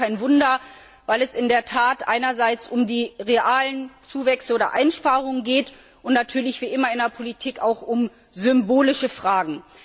Das ist auch kein Wunder, weil es in der Tat einerseits um die realen Zuwächse und Einsparungen geht und natürlich wie immer in der Politik auch um symbolische Fragen.